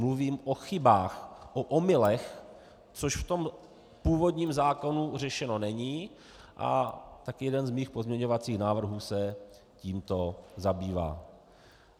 Mluvím o chybách, o omylech, což v tom původním zákonu řešeno není, a tak jeden z mých pozměňovacích návrhů se tímto zabývá.